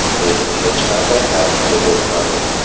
Lekin hech qanday natija bo‘lmadi.